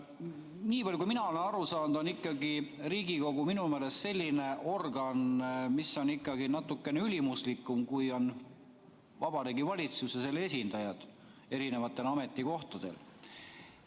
Nii palju kui mina olen aru saanud, on Riigikogu ikkagi selline organ, mis on natukene ülimuslikum, kui on Vabariigi Valitsus ja selle esindajad eri ametikohtadel.